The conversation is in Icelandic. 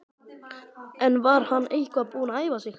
En var hann eitthvað búinn að æfa sig?